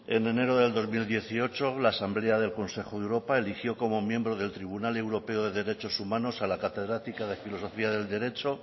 en enero del dos mil dieciocho la asamblea del consejo de europa eligió como miembro del tribunal europeo de derechos humanos a la catedrática de filosofía del derecho